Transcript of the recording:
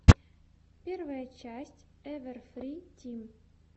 первая часть эвэрфри тим